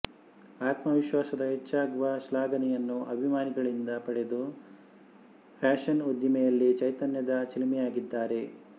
ಆತ್ಮ ವಿಶ್ವಾಸದ ಹೆಚ್ಚಾಗುವ ಶ್ಲಾಘನೆಯನ್ನು ಅಭಿಮಾನಿಗಳಿಂದ ಪಡೆದು ಫ್ಯಾಶನ್ ಉದ್ದಿಮೆಯಲ್ಲಿ ಚೈತನ್ಯದ ಚಿಲುಮೆಯಾಗಿದ್ದಾರೆ